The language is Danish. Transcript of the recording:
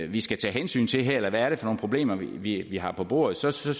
vi skal tage hensyn til her eller hvad er det for nogle problemer vi har på bordet så så